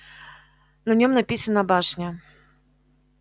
на нём написано башня